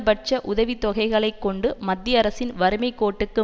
பட்ச உதவி தொகைகளை கொண்டு மத்திய அரசின் வறுமைக்கோட்டுக்கு